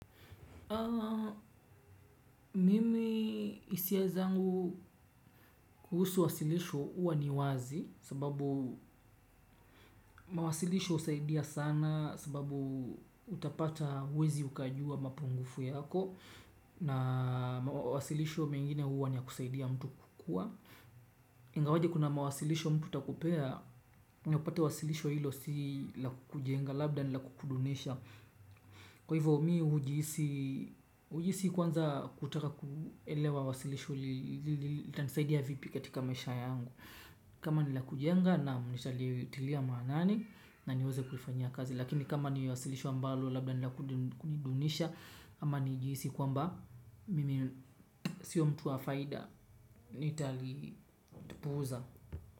Mimi hisia zangu kuhusu wasilisho huwa ni wazi sababu mawasilisho husaidia sana sababu utapata uwezi ukajua mapungufu yako na wasilisho mengine huwa ni ya kusaidia mtu kukua. Ingawaje kuna mawasilisho mtu atakupea upate wasilisho hilo si la kukujenga labda ni la kukudunisha. Kwa hivyo mi hujihisi hujihisi kwanza kutaka kuelewa wasilisho. Litanisaidia vipi katika maisha yangu kama ni la kujenga nam nitalitilia maanani na niweza kulifanyia kazi lakini kama ni wasilisho ambalo labda ni la kunidunisha ama nijihisi kwamba mimi sio mtu wa faida. Nitalitupuza.